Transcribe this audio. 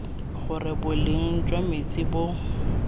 gore boleng jwa metsi bo